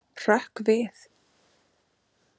Hrökk við.